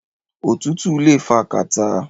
Òtútù le fa kàtá.